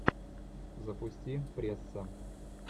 запусти пресса